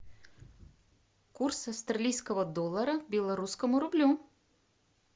курс австралийского доллара к белорусскому рублю